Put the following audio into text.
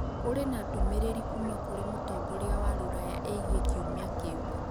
Kũrĩ na ndũmĩrĩri kuuma kũrĩ mũtongoria wa rũraya ĩgiĩ kiumia kĩu.